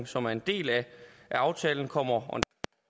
som er en del af aftalen kommer